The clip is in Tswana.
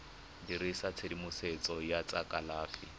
dirisa tshedimosetso ya tsa kalafi